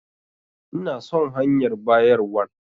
Ina son hanyar bayarwan.